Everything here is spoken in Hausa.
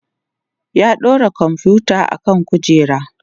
ya ɗaura komfuta akan kujera